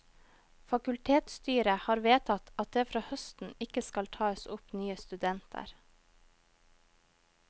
Fakultetsstyret har vedtatt at det fra høsten ikke skal tas opp nye studenter.